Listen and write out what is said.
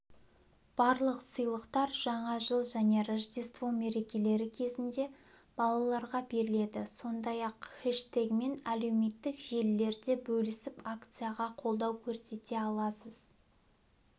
барлық сыйлықтар жаңа жыл және рождество мерекелері кезінде балаларға беріледі сондай-ақ хэштегімен әлеуметтік желілерде бөлісіп акцияға қолдау көрсете аласыз